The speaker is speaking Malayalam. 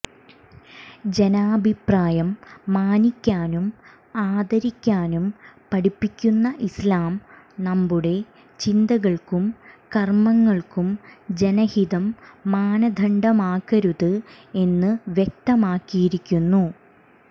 ജനാഭിപ്രായം മാനിക്കാനും ആദരിക്കാനും പഠിപ്പിക്കുന്ന ഇസ്ലാം നമ്മുടെ ചിന്തകള്ക്കും കര്മങ്ങള്ക്കും ജനഹിതം മാനദണ്ഡമാക്കരുത് എന്ന് വ്യക്തമാക്കിയിരിക്കുന്നു